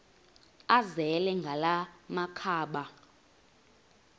azele ngala makhaba